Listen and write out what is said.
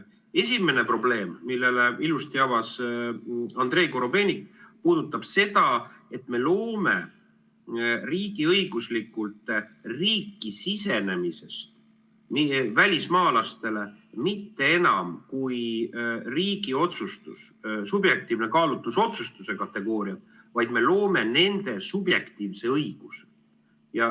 Esimene probleem, mille ilusti avas Andrei Korobeinik, puudutab seda, et me loome riigiõiguslikult riiki sisenemises välismaalastele mitte enam riigi subjektiivse kaalutlusotsustuse kategooria, vaid me loome nende subjektiivse õiguse.